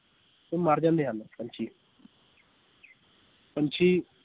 ਇਹ ਮਰ ਜਾਂਦੇ ਹਨ ਪੰਛੀ ਪੰਛੀ